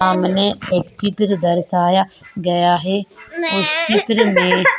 सामने एक चित्र दर्शाया गया है उस चित्र में --